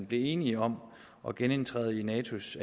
blev enige om at genindtræde i natos